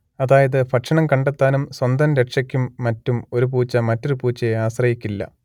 അതായത് ഭക്ഷണം കണ്ടെത്താനും സ്വന്തം രക്ഷയ്ക്കും മറ്റും ഒരു പൂച്ച മറ്റൊരു പൂച്ചയെ ആശ്രയിക്കില്ല